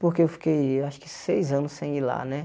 Porque eu fiquei acho que seis anos sem ir lá, né?